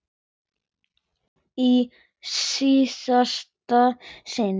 Í síðasta sinn.